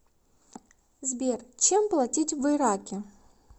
сбер чем платить в ираке